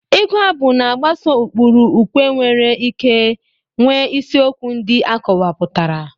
Ịgu abụ na-agbaso ụkpụrụ ukwe nwere ike nwee isiokwu ndị akọwapụtara.